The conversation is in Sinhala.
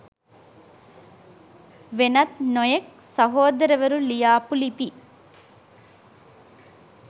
වෙනත් නොයෙක් සහෝදරවරු ලියාපු ලිපි